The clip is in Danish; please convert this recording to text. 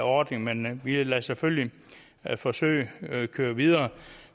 ordning men vi vil selvfølgelig lade forsøget køre videre